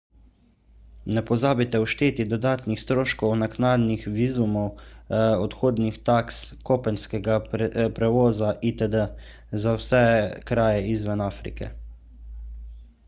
ne pozabite všteti dodatnih stroškov naknadnih vizumov odhodnih taks kopenskega prevoza itd za vse kraje izven afrike